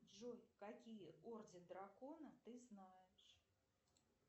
джой какие орды дракона ты знаешь